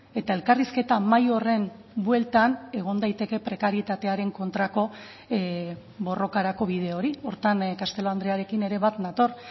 eta elkarrizketa mahai horren bueltan egon daiteke prekarietatearen kontrako borrokarako bide hori horretan castelo andrearekin ere bat nator